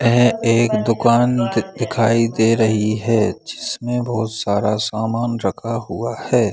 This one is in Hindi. ऐ एक दुकान दि दिखाई दे रही है जिसमें बहुत सारा सामान रखा हुआ है |